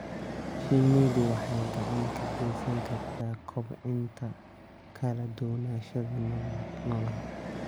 Shinnidu waxay gacan ka geysan kartaa kobcinta kala duwanaanshaha noolaha.